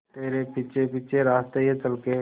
तेरे पीछे पीछे रास्ते ये चल के